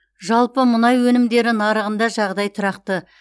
жалпы мұнай өнімдері нарығында жағдай тұрақты